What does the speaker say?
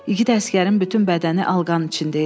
İgid əsgərin bütün bədəni alqanın içində idi.